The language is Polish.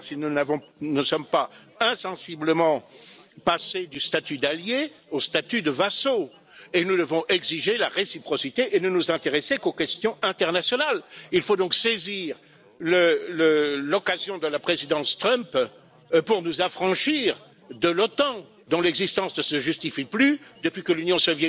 Dość przytoczyć takie przykłady jak rozpętanie wojny handlowej, ataki na jedność Unii Europejskiej, podważanie funkcjonowania NATO, ONZ, w końcu także WTO, no i oczywiście likwidowanie umów o handlu międzynarodowym i usługach czy inwestycjach. Mimo wszystko uważam, że interesem